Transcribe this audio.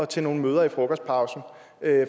til nogle møder i frokostpausen